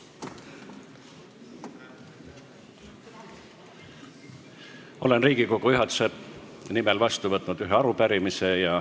Olen Riigikogu juhatuse nimel vastu võtnud ühe arupärimise.